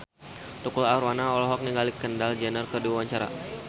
Tukul Arwana olohok ningali Kendall Jenner keur diwawancara